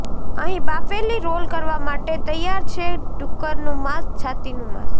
અહીં બાફેલી રોલ કરવા માટે તૈયાર છે ડુક્કરનું માંસ છાતીનું માંસ